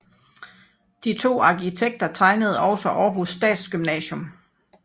De to arkitekter tegnede også Århus Statsgymnasium